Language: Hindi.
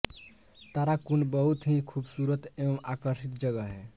ताराकुंड बहुत ही खूबसूरत एवं आकर्षित जगह है